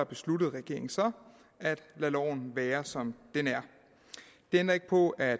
besluttede regeringen så at lade loven være som den er det ændrer ikke på at